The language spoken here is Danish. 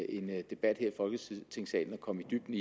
end en debat her i folketingssalen at komme i dybden